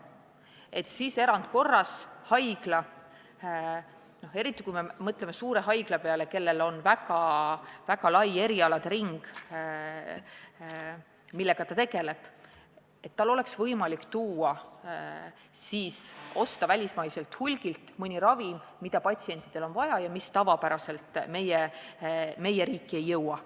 Sellisel juhul võiks erandkorras haigla – me peame silmas just suuri haiglaid, kus on tegu väga laia erialade ringiga – osta välismaiselt hulgifirmalt mõne ravimi, mida patsientidel on vaja ja mis tavapärasel moel meie riiki ei jõua.